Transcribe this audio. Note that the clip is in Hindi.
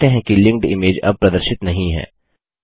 आप देखते हैं कि लिंक्ड इमेज अब प्रदर्शित नहीं है